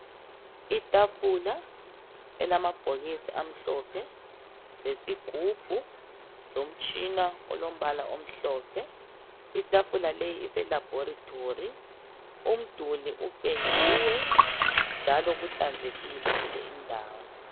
Itafula elamabhokisi amhlophe, lesigubhu , lomtshina olombala omhlophe. Itafula leyi ise laboratory , umduli upendiwe njalo kuhlanzekile kuleyi ndawo.